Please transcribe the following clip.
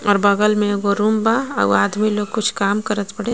और बगल में एगो रूम बा अउर आदमी लोग कुछ काम करत बाड़े.